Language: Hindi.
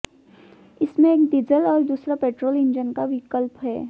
इसमें एक डीजल और दूसरा पेट्रोल इंजन का विकल्प है